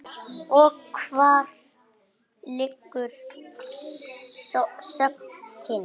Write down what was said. Og hvar liggur sökin?